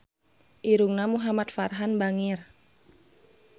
Irungna Muhamad Farhan bangir